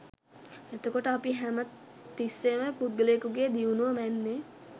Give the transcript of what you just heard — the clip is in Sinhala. එතකොට අපි හැම තිස්සේම පුද්ගලයෙකුගේ දියුණුව මැන්නේ